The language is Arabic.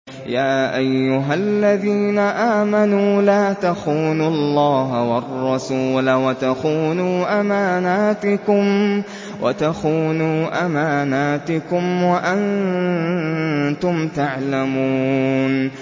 يَا أَيُّهَا الَّذِينَ آمَنُوا لَا تَخُونُوا اللَّهَ وَالرَّسُولَ وَتَخُونُوا أَمَانَاتِكُمْ وَأَنتُمْ تَعْلَمُونَ